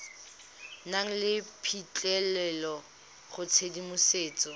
nang le phitlhelelo go tshedimosetso